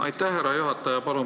Aitäh, härra juhataja!